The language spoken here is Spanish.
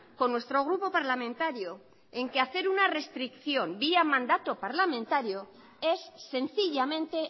con nuestro grupo parlamentario en que hacer una restricción vía mandato parlamentario es sencillamente